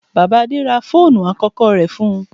Bàbá Adé ra fóònù àkọ́kọ́ rẹ̀ fún-un.